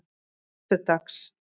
föstudags